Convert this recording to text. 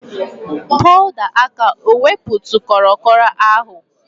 Powda aka ewepụtụ kro kro agụ?